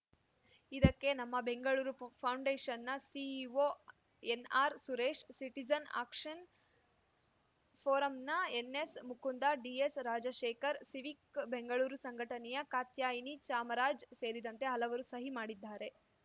ಇದಕ್ಕೆ ನಮ್ಮ Bengaluru ಫೌ ಫೌಂಡೇಷನ್‌ನ CEO N. R. Suresh citizen action ಫೋರಂನ ಎನ್‌ಎಸ್‌ಮುಕುಂದ ಡಿಎಸ್‌ರಾಜಶೇಖರ್‌ Civic Bengaluru ಸಂಘಟನೆಯ ಕಾತ್ಯಾಯಿನಿ ಚಾಮರಾಜ್‌ ಸೇರಿದಂತೆ ಹಲವರು ಸಹಿ ಮಾಡಿದ್ದಾರೆ